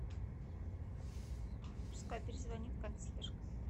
пускай перезвонит консьержка